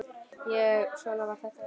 En svona var þetta þá.